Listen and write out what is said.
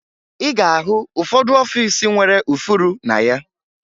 Ị ga-ahụ ụfọdụ ọfiisi nwere ụfụrụ na ya